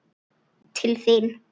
Til þín?